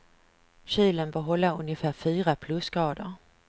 Kylen bör hålla ungefär fyra plusgrader.